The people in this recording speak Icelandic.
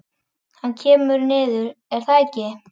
Hann kemur niður, er það ekki?